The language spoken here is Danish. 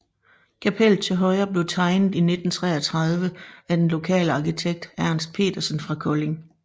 Kapellet til højre blev tegnet i 1933 af den lokale arkitekt Ernst Petersen fra Kolding